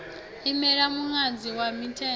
imela muṅadzi wa mithenga u